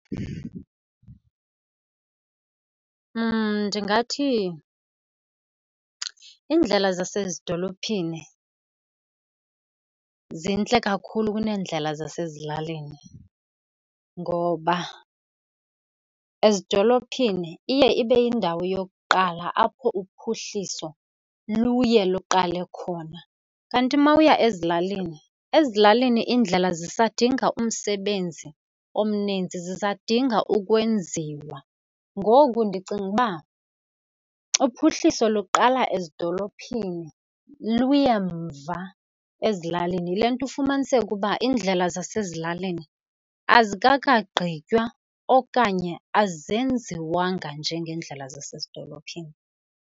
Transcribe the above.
Ndingathi iindlela zasezidolophini zintle kakhulu kuneendlela zasezilalini ngoba ezidolophini iye ibe yindawo yokuqala apho uphuhliso luye luqale khona, kanti mawuya ezilalini, ezilalini iindlela zisadinga umsebenzi omninzi, sisadinga ukwenziwa. Ngoku ndicinga uba uphuhliso luqala ezidolophini luye mva ezilalini. Yile nto ufumaniseke uba iindlela zasezilalini azikakagqitywa okanye azenziwanga njengeendlela zasezidolophini.